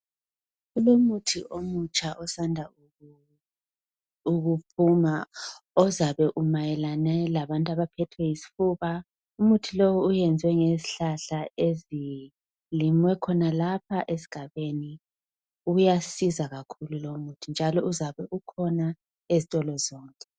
Kulomuthi omutsha osanda ukuphuma ozabe umayelene labantu abaphethwe yisifuba umuthi lo wenziwe ngezihlahla ezilinywe khonalapha esigabeni uyasiza kakhulu lomuthi njalonuzabe ukhona ezitolo zonke.